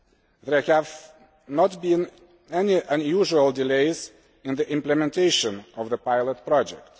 There have not been any unusual delays in the implementation of the pilot project.